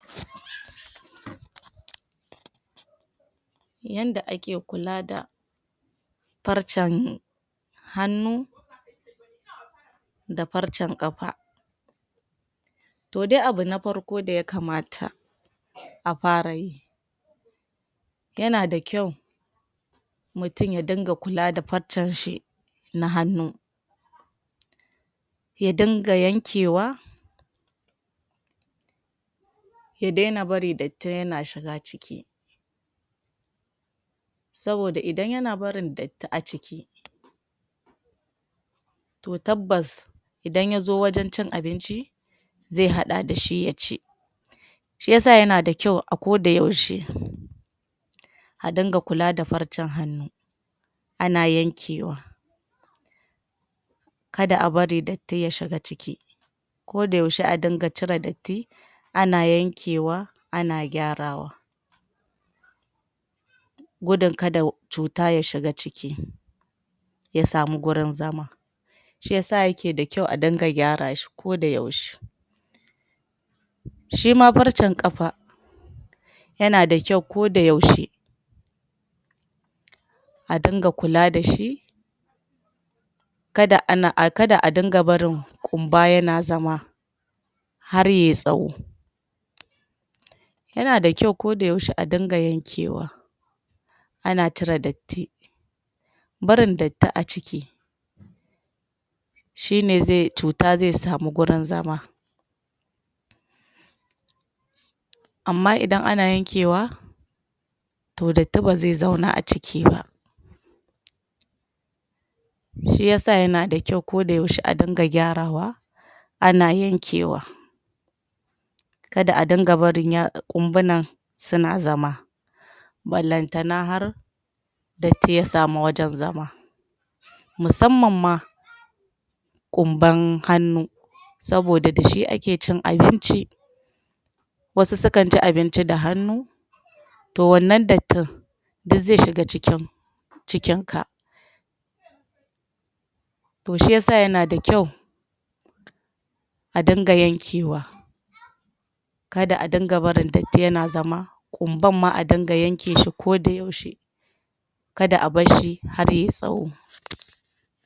Yanda ake kula da farcen hannu da farcen ƙafa. To dai abu na farko da ya kamata a fara yi yana da kyau mutum ya dinga kula da farcen shi na hannu, ya dinga yankewa ya daina barin datti yana shiga ciki. Saboda idan yana barin datti a ciki to tabbas idan ya zo wajen cin abinci ze haɗa da shi ya ci. Shi yasa yana da kyau a ko da yaushe a dinga kula da farcen hannu, ana yankewa kada a bari datti ya shiga ciki. Ko da yaushe a dinga cire datti, ana yankewa, ana gyarawa gudun kada cuta ta shiga ciki ta samu gurin zama. Shi yasa yake da kyau a dinga gyarashi ko da yaushe. Shima farcen ƙafa yana da kyau ko da yaushe a dinga kula da shi, kada a dinga barin ƙumba yana zama har ya yi tsawo. Yana da kyau ko da yaushe a dinga yankewa, ana cire datti. Barin datti a ciki shine cuta ze samu gurin zama amma idan ana yankewa to datti ba zai zauna a ciki ba. Shi yasa yana da kyau ko da yaushe a dinga gyarawa, ana yankewa. Kada a dinga barin ƙumbunan suna zama banlanta har datti ya samu wajen zama musamman ma ƙumban hannu saboda dashi ake cin abinci. Wasu sukan ci abinci da hannu to wannan dattin duk ze shiga cikin ka. To shi yasa yana da kyau a dinga yankewa kada a dinga barin datti yana zama. Ƙumban ma a dinga yankeshi ko da yaushe kada a bar shi har ya yi tsawo.